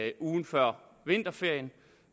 i ugen før vinterferien